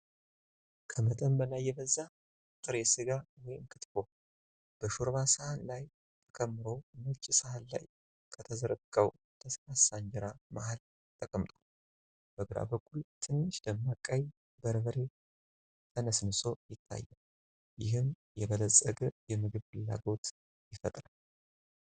ከመጠን በላይ የበዛ ጥሬ ስጋ (ክትፎ) በሾርባ ሳህን ላይ ተከምሮ፣ ነጭ ሳህን ላይ ከተዘረጋው ለስላሳ እንጀራ መሃል ተቀምጧል። በግራ በኩል ትንሽ ደማቅ ቀይ በርበሬ ተነስንሶ ይታያል፤ ይህም የበለጸገ የምግብ ፍላጎት ይፈጥራል።